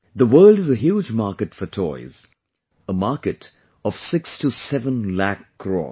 The world is a huge market for toys...a market of 6 to 7 lakh crores